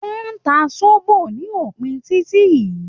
Wọ́n ń ta sóbó ní opin títí yìí